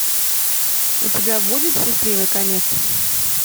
у тебя будет счастливый конец